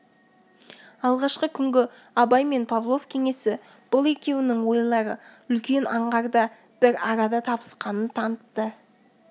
алғашқы күнгі абай мен павлов кеңесі бұл екеуінің ойлары үлкен аңғарда бір арада табысқанын танытты